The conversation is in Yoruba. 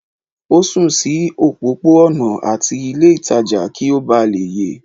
o sùn sí òpópó-ònà ati ilé ìtajà kí o bá lè ye